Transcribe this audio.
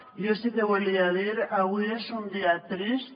jo sí que volia dir ho avui és un dia trist